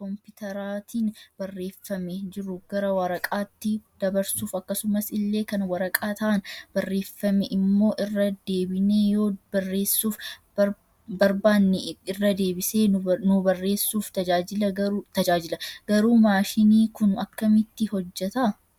compiiteraatiin barreeffame jiru gara waraqataatti dabarsuuf akkasumas illee kan waraqataan barreeffame immo irra deebinee yoo bareessuuf barbaanne irra deebisee nu bareessuuf tajaajila garuu maashinni Kun akkamitti hojjeta?